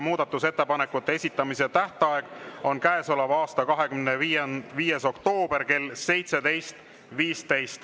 Muudatusettepanekute esitamise tähtaeg on käesoleva aasta 25. oktoober kell 17.15.